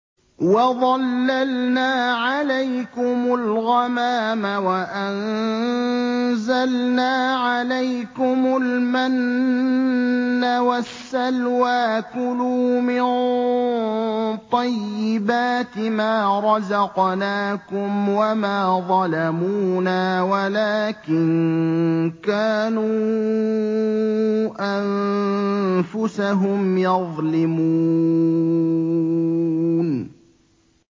وَظَلَّلْنَا عَلَيْكُمُ الْغَمَامَ وَأَنزَلْنَا عَلَيْكُمُ الْمَنَّ وَالسَّلْوَىٰ ۖ كُلُوا مِن طَيِّبَاتِ مَا رَزَقْنَاكُمْ ۖ وَمَا ظَلَمُونَا وَلَٰكِن كَانُوا أَنفُسَهُمْ يَظْلِمُونَ